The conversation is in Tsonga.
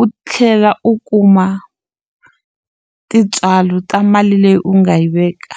u tlhela u kuma tintswalo ta mali leyi u nga yi veka.